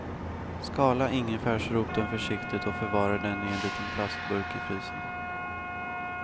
Skala ingefärsroten försiktigt och förvara den i en liten plastburk i frysen.